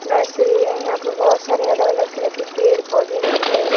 Nursery है यहां पे बहोत सारे अलग अलग तरह की पेड़ पौधे गमले हैं।